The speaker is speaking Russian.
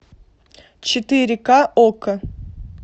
четыре ка окко